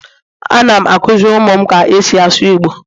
Anam akuziri umum ka esi asu igbo